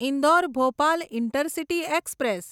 Indore Bhopal intercity express